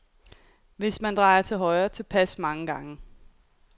Og hvis man drejer til højre tilpas mange gange, kommer